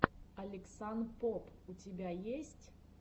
алексанпоб у тебя есть